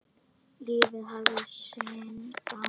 Lífið hafði sinn gang.